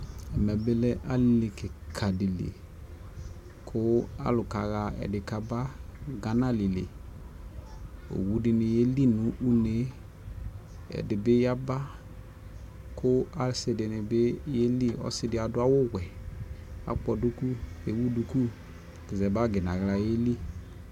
Ɛmɛ bi lɛ Ali kika di liKu alu ka ɣa ɛdi kabaGana Lili, owu dini yɛli nu une, ɛdi bi ya baKu asi dini bi yɛ liƆsi di adu awu wɛ, akɔ duku, ɛwu duku za bagi naɣla yi li